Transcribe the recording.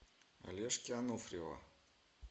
олежки ануфриева